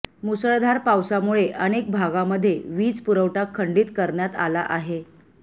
मुसळधार पावसामुळे अनेक भागामध्ये वीज पुरवठा खंडीत करण्यात आला आहे